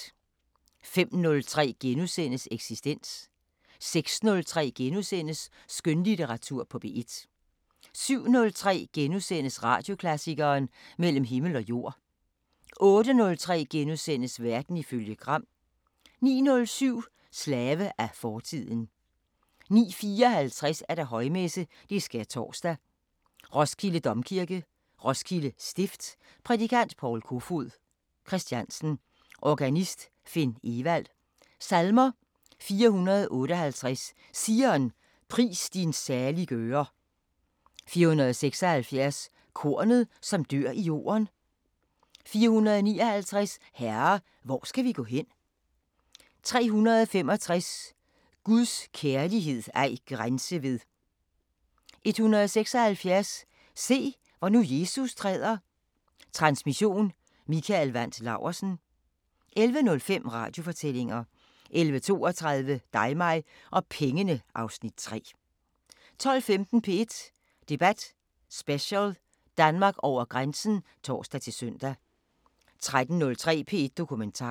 05:03: Eksistens * 06:03: Skønlitteratur på P1 * 07:03: Radioklassikeren: Mellem Himmel og Jord 08:03: Verden ifølge Gram * 09:07: Slave af fortiden 09:54: Højmesse - Skærtorsdag, Roskilde Domkirke, Roskilde Stift. Prædikant: Paul Kofoed Christiansen. Organist: Finn Evald. Salmer: 458: Zion, pris din saliggører 476: Kornet, som dør i jorden 459: Herre! hvor skal vi gå hen? 365: Guds kærlighed ej grænse ved 176: Se, hvor nu Jesus træder Transmission: Mikael Wandt Laursen. 11:05: Radiofortællinger 11:32: Dig mig og pengene (Afs. 3) 12:15: P1 Debat Special: Danmark over grænsen (tor-søn) 13:03: P1 Dokumentar